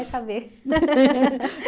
vai saber.